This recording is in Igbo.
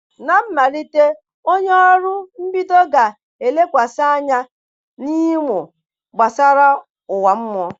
Na mmalite Oru onye mbido ga-elekwasị anya n'ịmụ gbasara ụwa mmụọ.